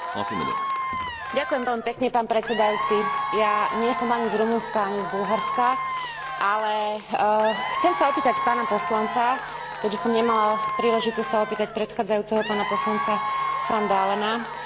Ja nie som ani z Rumunska, ani z Bulharska, ale chcem sa opýtať pána poslanca, keďže som nemala príležitosť sa opýtať predchádzajúceho pána poslanca van Dalena, napriek tomu, že nereprezentujem tieto dve krajiny